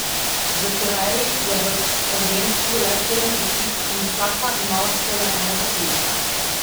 V Koreji je v prvenstvu le sedem ekip in vsaka ima lahko le enega tujca.